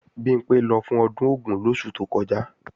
Bimpé lọ fún ọdún Ògún lóṣù tó kọjá